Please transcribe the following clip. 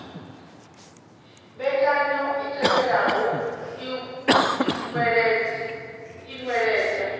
mbekanyo i tevhelaho i nweledza